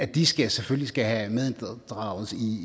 de skal selvfølgelig have medinddragelse i